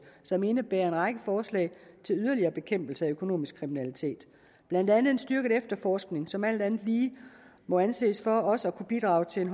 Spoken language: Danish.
som indebærer en række forslag til yderligere bekæmpelse af økonomisk kriminalitet blandt andet en styrket efterforskning som alt andet lige må anses for også at kunne bidrage til en